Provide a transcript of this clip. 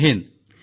Jay Hind